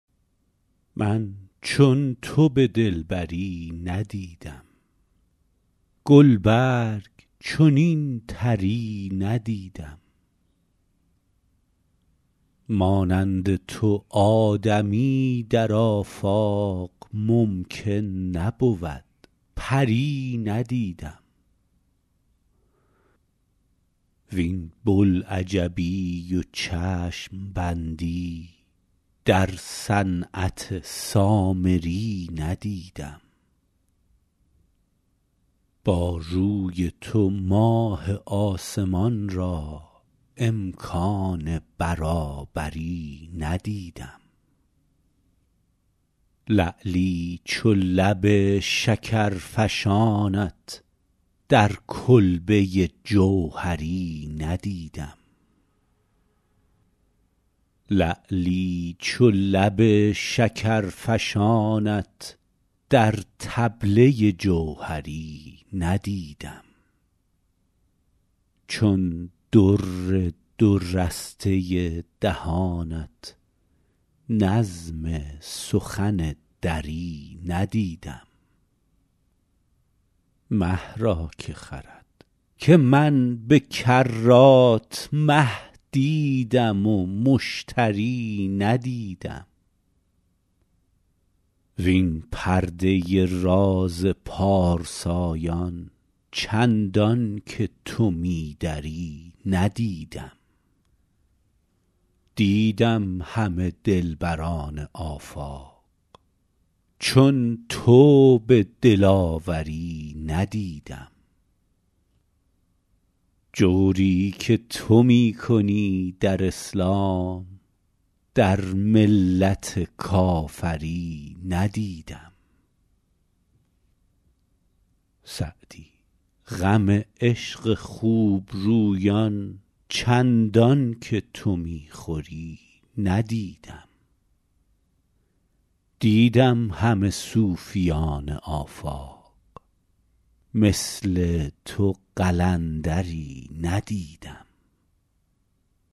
من چون تو به دلبری ندیدم گل برگ چنین طری ندیدم مانند تو آدمی در آفاق ممکن نبود پری ندیدم وین بوالعجبی و چشم بندی در صنعت سامری ندیدم با روی تو ماه آسمان را امکان برابری ندیدم لعلی چو لب شکرفشانت در کلبه جوهری ندیدم چون در دو رسته دهانت نظم سخن دری ندیدم مه را که خرد که من به کرات مه دیدم و مشتری ندیدم وین پرده راز پارسایان چندان که تو می دری ندیدم دیدم همه دلبران آفاق چون تو به دلاوری ندیدم جوری که تو می کنی در اسلام در ملت کافری ندیدم سعدی غم عشق خوب رویان چندان که تو می خوری ندیدم دیدم همه صوفیان آفاق مثل تو قلندری ندیدم